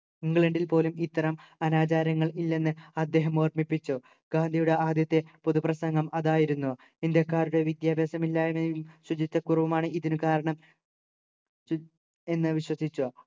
ഇംഗ്ലണ്ടിൽ പോലും ഇത്തരം അനാചാരങ്ങൾ ഇല്ലെന്നു അദ്ദേഹം ഓർമിപ്പിച്ചു ഗാന്ധിയുടെ ആദ്യത്തെ പൊതു പ്രസംഗം അതായിരുന്നു ഇന്ത്യക്കാരുടെ വിദ്യാഭ്യാസമില്ലായ്മയും ശുചിത്വക്കുറവുമാണ് ഇതിനു കാരണം എന്ന് വിശ്വസിച്ചു